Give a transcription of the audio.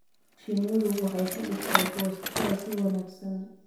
Shinnidu waxay ka dhigtaa goosashada si wanaagsan.